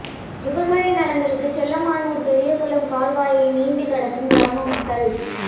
விவசாய நிலங்களுக்கு செல்ல மானூர் பெரியகுளம் கால்வாயை நீந்தி கடக்கும் கிராம மக்கள்